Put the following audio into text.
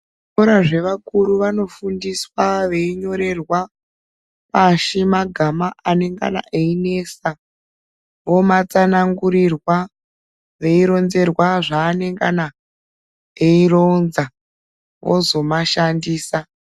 Zvikora zvevakuru vanofundiswa veinyorerwa pashi magama anengana einesa omatsanangurirwa veironzerwa zvaanengana eironza vozomashandisa.